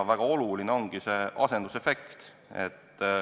Väga oluline ongi see asendusefekt.